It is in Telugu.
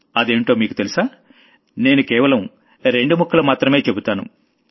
అదేంటో మీకు తెలుసా నేను కేవలం రెండు ముక్కలు మాత్రం చెబుతాను